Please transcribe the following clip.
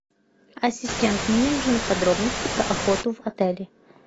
ассистент мне нужны подробности про охоту в отеле